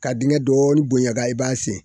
Ka dingɛ dɔɔnin bonyan ka i b'a sen